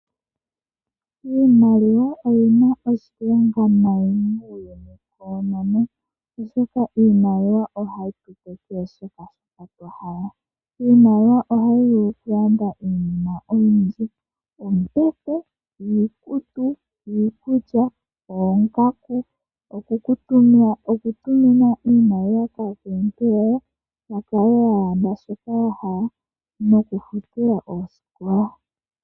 Iimaliwa oyina oshilonga nayi muuyuni wonena oshoka ohayi tu kwathele shoka twa hala iimaliwa ohayi vulu okulanda iinima oyindji ngaashi oombete, iikutu, iikulya, oongaku, okutumina iimaliwa kaakuluntu yoye ya lande shoka ya hala nokufuta oosikola.